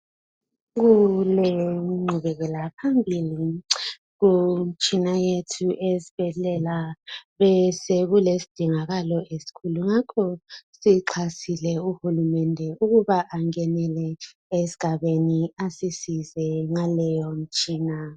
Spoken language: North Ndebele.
Kulengqubelaphambili kumitshina yethu eyesibhedlela. Besekulesidingo esikhulu ngakho sinxuse uhulumende ukuthi angenele esigabeni asisize ngaleyo mitshina.